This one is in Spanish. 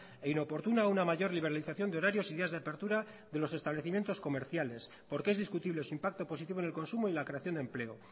e inoportuna una mayor liberalización de horarios y días de apertura de los establecimientos comerciales porque es discutible su impacto positivo en el consumo y la creación de empleo